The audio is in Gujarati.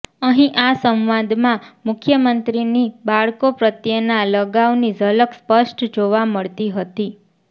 અહીં આ સંવાદમાં મુખ્યમંત્રીની બાળકો પ્રત્યેના લગાવની ઝલક સ્પષ્ટ જોવા મળતી હતી